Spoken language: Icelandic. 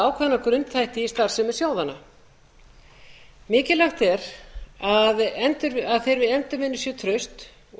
skoða ákveðna grunnþætti í starfsemi sjóðanna mikilvægt er að þeirri endurvinna sé traust og